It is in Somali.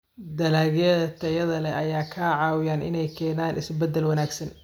Dalagyada tayada leh ayaa ka caawiya inay keenaan isbeddel wanaagsan.